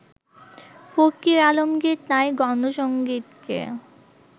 ফকির আলমগির তাই গণসংগীতকে